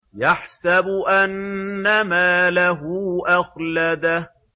يَحْسَبُ أَنَّ مَالَهُ أَخْلَدَهُ